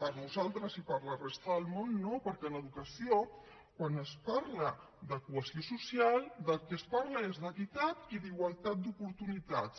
per nosaltres i per la resta del món no perquè en educació quan es parla de cohesió social del que es parla és d’equitat i d’igualtat d’oportunitats